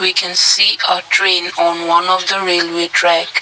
we can see a train on one of the railway track.